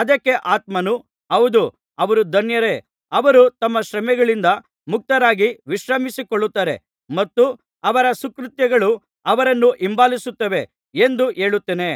ಅದಕ್ಕೆ ಆತ್ಮನು ಹೌದು ಅವರು ಧನ್ಯರೇ ಅವರು ತಮ್ಮ ಶ್ರಮೆಗಳಿಂದ ಮುಕ್ತರಾಗಿ ವಿಶ್ರಮಿಸಿಕೊಳ್ಳುತ್ತಾರೆ ಮತ್ತು ಅವರ ಸುಕೃತ್ಯಗಳು ಅವರನ್ನು ಹಿಂಬಾಲಿಸುತ್ತವೆ ಎಂದು ಹೇಳುತ್ತಾನೆ